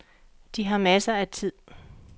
De har masser af tid.